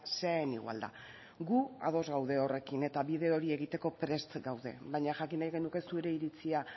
sea en igualdad gu ados gaude horrekin eta bide hori egiteko prest gaude baina jakin nahiko genuke iritzia